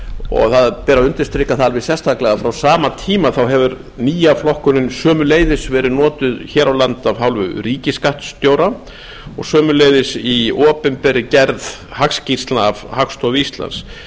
og það ber að undirstrika það alveg sérstaklega að frá sama tíma hefur nýja flokkunin sömuleiðis verið notuð hér á landi af hálfu ríkisskattstjóra og sömuleiðis í opinberri gerð hagskýrslna af hagstofu íslands